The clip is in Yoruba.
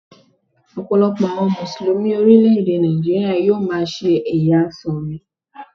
Ọ̀pọ̀lọpọ̀ àwọn Mùsùlùmí orílẹ̀ èdè Nàìjíríà yóò máa ṣe ẹ̀yà Súnì.